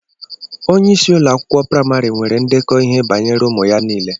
Onyeisi ụlọ akwụkwọ praimari nwere ndekọ ihe banyere ụmụ ya niile